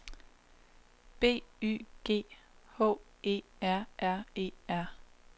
B Y G H E R R E R